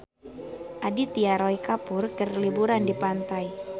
Aditya Roy Kapoor keur liburan di pantai